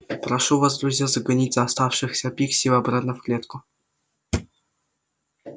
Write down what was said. прошу вас друзья загоните оставшихся пикси обратно в клетку